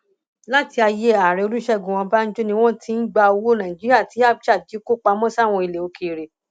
láti ayé ààrẹ olùṣègùn ọbànjọ ni wọn ti ń gbowó nàìjíríà tí abcha jí kó pamọ sáwọn ilẹ òkèèrè